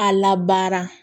A labaara